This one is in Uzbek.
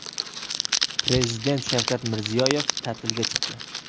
Prezident Shavkat Mirziyoyev ta’tilga chiqdi.